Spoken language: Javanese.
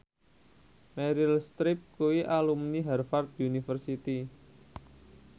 Meryl Streep kuwi alumni Harvard university